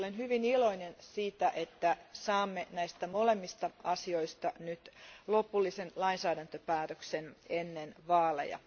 Olen hyvin iloinen siitä, että saamme näistä molemmista asioista nyt lopullisen lainsäädäntöpäätöksen ennen vaaleja.